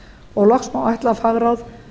og loks má ætla að fagráð